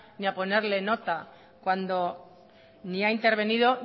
y a ponerle nota cuando ni ha intervenido